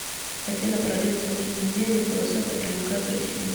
афина параллельно с какими идеями философия проникает в россию